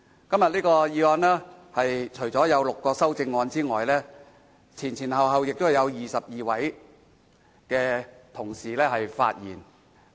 今天這項議案有6項修正案，先後有22位同事發言。